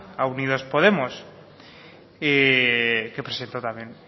a unidos podemos que presentó también